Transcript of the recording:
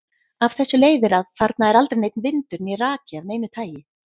Af þessu leiðir að þarna er aldrei neinn vindur né raki af neinu tagi.